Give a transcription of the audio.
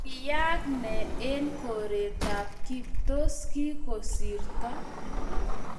Kiyayaak ne eng koretap kip? tos, kigosirto?